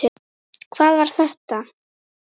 HVAÐ VAR ÞETTA?